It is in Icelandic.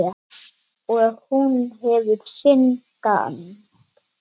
Og hún hefur sinn gang.